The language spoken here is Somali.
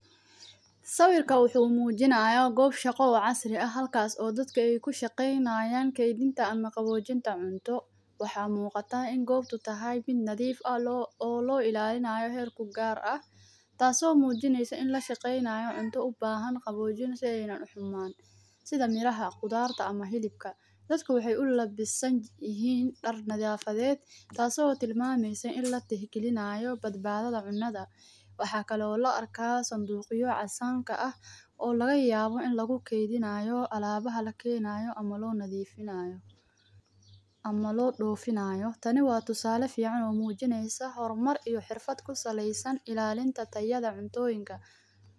Wasqaddu waa wasakhda ama hadhaaga urursada meelaha kala duwan sida guriga, dharka, waddooyinka, ama jidhka qofka. Wasqadda haddii aan si joogto ah loo nadiifin waxay keeni kartaa dhibaatooyin badan sida ur xun, cudurro, cayayaan badan iyo muuqaal fool xun. Sidaas darteed, nadiifinta wasqadda.